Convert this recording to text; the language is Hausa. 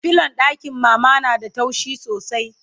filon ɗakin mama na da taushi sosai